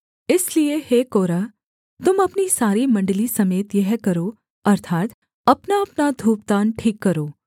इसलिए हे कोरह तुम अपनी सारी मण्डली समेत यह करो अर्थात् अपनाअपना धूपदान ठीक करो